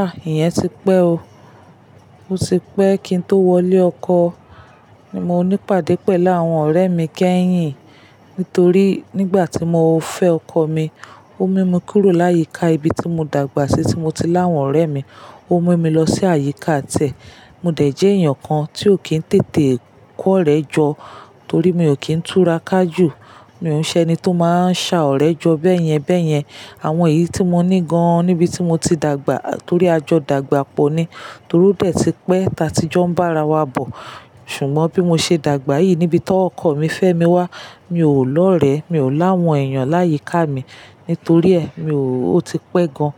Ah! Iyẹn ti pẹ́ o. O ti pẹ́ kí n tó wọlé ọkọ. Ni mo ní pàdé pẹ̀lú àwọn ọ̀rẹ́ mi kẹ́yìn. Nítorí nígbà tí mo fẹ́ ọkọ mi, ó mú mi kúrò láyìíká ibi tí mo dàgbà sí tí mo ti láwọn ọ̀rẹ́ mi. Ó mú mi lọ sí àyíká tẹ̀. Mo dẹ̀ jẹ́ èèyàn kan tí ò kí n tètè kọ́rẹ́ jọ torí mi ò kí n tura ká jù. Mi ò ńṣe ẹni tó máa ń sa ọ̀rẹ́ jọ bẹ́yẹn bẹ́yẹn. Àwọn èyí tí mo ní gan-an níbi tí mo ti dàgbà torí a jọ dàgbà pọ̀ ni. Torí ó dẹ̀ ti pẹ́ ta ti jọ ń bá ara wa bọ̀. Ṣùgbọ́n bí mo ṣe dàgbà yìí níbi tí ọkọ mi fẹ́ mi wá, mi ò lọ̀rẹ́. Mi ò láwọn èèyàn láyìíká mi. Nítorí ẹ, mi ò. O ti pẹ́ gan-an